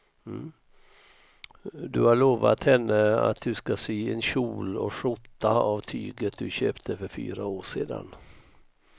Du har lovat henne att du ska sy en kjol och skjorta av tyget du köpte för fyra år sedan.